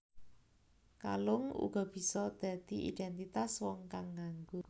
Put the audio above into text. Kalung uga bisa dadi idéntitas wong kang nganggo